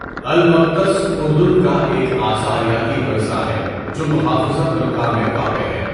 المغطس اردن کا ایک آثاریاتی ورثہ ہے جو محافظہ بلقاء میں واقع ہے۔